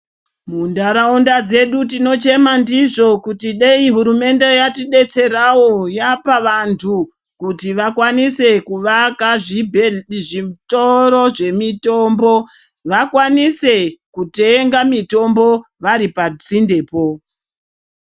Mundaraunda medu tinochema ndizvo kuti dei hurumende yatidetserawo yapa vantu kuti vakwanise kuvaka zvibhedhlera zvitoro zvemitombo vakwanise kutenga mitombo tiri padhuze.